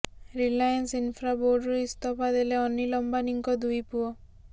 Reliance Infra ବୋର୍ଡ଼ରୁ ଇସ୍ତଫା ଦେଲେ ଅନୀଲ ଅମ୍ବାନୀଙ୍କ ଦୁଇ ପୁଅ